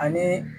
Ani